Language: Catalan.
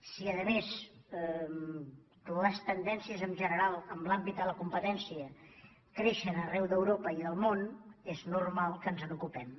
si a més les tendències en general en l’àmbit de la competència creixen arreu d’europa i del món és normal que ens n’ocupem